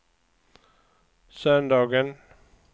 söndagen